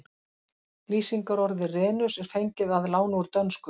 Lýsingarorðið renus er fengið að láni úr dönsku.